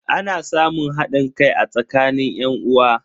Ana samun hadin kai a tsakanin yan'uwa.